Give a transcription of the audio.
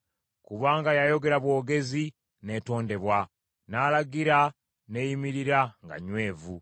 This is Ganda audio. kubanga yayogera bwogezi n’etondebwa, n’alagira n’eyimirira nga nywevu.